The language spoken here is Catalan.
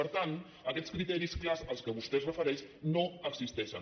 per tant aquests criteris clars a què vostè es refereix no existeixen